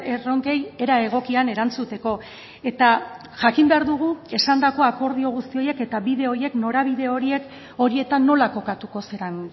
erronkei era egokian erantzuteko eta jakin behar dugu esandako akordio guzti horiek eta bide horiek norabide horiek horietan nola kokatuko zaren